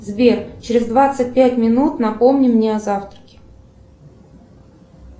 сбер через двадцать пять минут напомни мне о завтраке